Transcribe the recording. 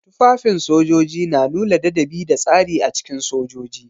Tufafin sojoji na nuna ladabi da tsari a cikin sojoji.